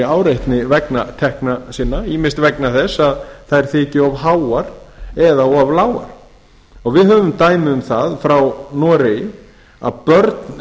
áreitni vegna tekna sinna ýmist vegna þess að þær þyki of háar eða of lágar við höfum dæmi um það frá noregi að börn